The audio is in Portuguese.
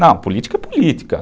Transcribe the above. Não, política é política.